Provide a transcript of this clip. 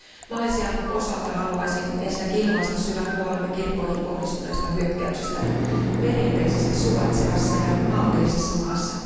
Malesian osalta haluaisin ensinnäkin ilmaista syvän huolemme kirkkoihin kohdistuneista hyökkäyksistä perinteisesti suvaitsevassa ja maltillisessa maassa.